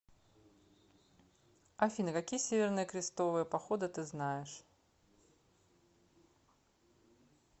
афина какие северные крестовые походы ты знаешь